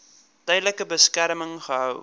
tydelike beskerming gehou